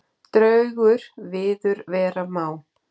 Draugur viður vera má.